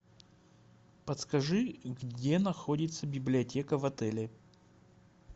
подскажи где находится библиотека в отеле